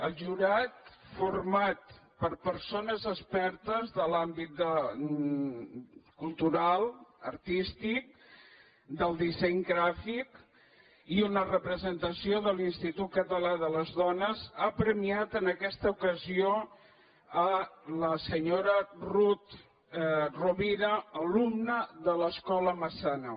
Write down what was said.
el jurat format per persones expertes de l’àmbit cultural artístic del disseny gràfic i una representació de l’institut català de les dones ha premiat en aquesta ocasió la senyora rut rovira alumna de l’escola massana